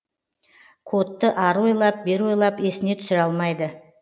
кодты ары ойлап бері ойлап есіне түсіре алмайды